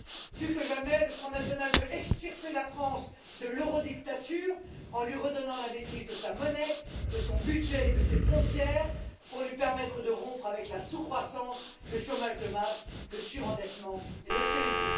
Plus que jamais, le Front national veut extirper la France de l'eurodictature en lui redonnant la maîtrise de sa monnaie, de son budget et de ses frontières, pour lui permettre de rompre avec la sous croissance, le chômage de masse, le surendettement et l'austérité.